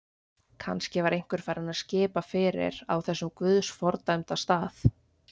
Kannski var einhver farinn að skipa fyrir á þessum guðs fordæmda stað.